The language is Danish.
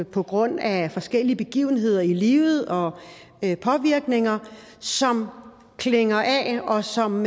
på grund af forskellige begivenheder i livet og påvirkninger som klinger af og som